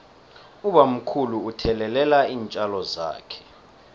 ubamkhulu uthelelela iintjalo zakhe